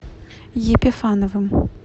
епифановым